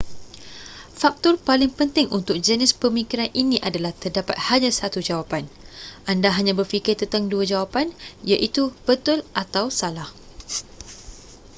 faktor paling penting untuk jenis pemikiran ini adalah terdapat hanya satu jawapan anda hanya berfikir tentang dua jawapan iaitu betul atau salah